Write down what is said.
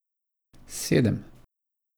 Sedem.